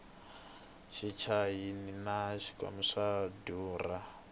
tichayihi na swingwavila swa durha